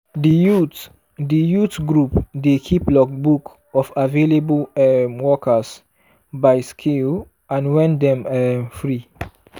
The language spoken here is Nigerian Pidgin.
di youth di youth group dey keep logbook of available um workers by skill and when dem um free.